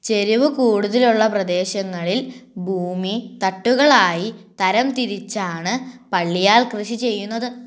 ചെരുവ് കൂടുതലുള്ള പ്രദേശങ്ങളിൽ ഭൂമി തട്ടുകൾ ആയി തരംതിരിച്ചാണ് പള്ളിയാൽ കൃഷി ചെയ്യുന്നത്